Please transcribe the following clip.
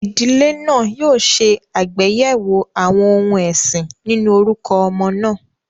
Ìdílé náà yóò ṣe àgbéyẹ̀wò àwọn ohun ẹ̀sìn nínú orúkọ ọmọ náà.